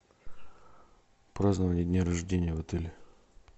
празднование дня рождения в отеле